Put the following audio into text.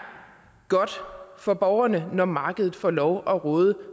godt for borgerne når markedet får lov at råde